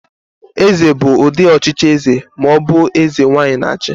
Eze bụ ụdị ọchịchị eze ma ọ bụ eze nwaanyị na-achị.